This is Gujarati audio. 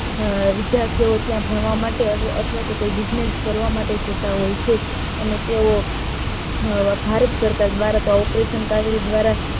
વિધ્યાર્થી ઓ ત્યાં ભણવા માટે અવઠવાતો કોઈ business કરવા માટે જતા હોય છે અને તેવો ભારત સરકાર દ્વારા ત્યાં operation કાવેરી દ્વારા